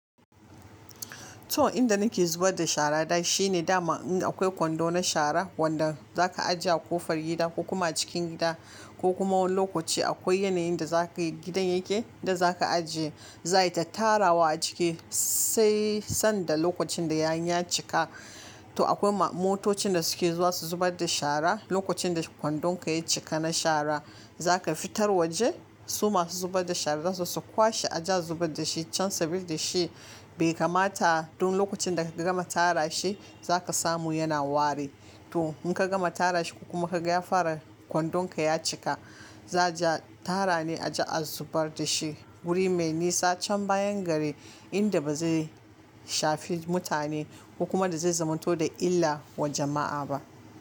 To inda nake zubar da sharata shine daman in akwai kwando na shara wanda za ka ajiye a ƙofar gida ko kuma cikin gida ko kuma wani lokaci akwai yanayin da gidan yake da za ka ajiye, za, a yi ta tarawa a ciki sai sanda lokacin da ya cika. To akwai motocin da suke zuwa su zubar da shara lokacin da kwandonka ya cika na shara. Za ka fitar waje, su masu zubar da shara zasu kwashe a je a zubar da shi can saboda shi bai kamata duk lokacin da ka gama tara shi za ka samu yana wari. To in ka gama tara shi ko kuma ka ga ya fara kwandonka ya cika, za, a je a tara ne a je a zubar da shi wuri mai nisa can bayan gari inda ba zai shafi mutane ko kuma da zai zamanto da illa wa jama'a ba.